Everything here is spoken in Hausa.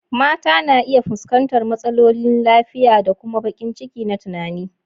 Mata na iya fuskantar matsalolin lafiya da kuma baƙin ciki na tunani.